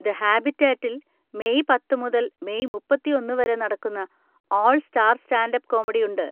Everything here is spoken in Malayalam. ദ ഹാബിറ്റേറ്റിൽ മെയ് പത്ത്‌ മുതൽ മെയ് മുപ്പത്തിയൊന്ന് വരെ നടക്കുന്ന 'all star stand up comedy' ഉണ്ട്.